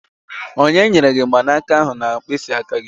Onye nyere gị mgbanaka ahụ na mkpịsị aka gị?